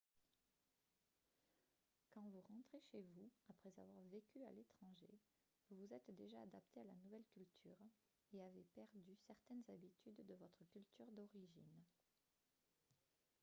quand vous rentrez chez vous après avoir vécu à l'étranger vous vous êtes déjà adapté à la nouvelle culture et avez perdu certaines habitudes de votre culture d'origine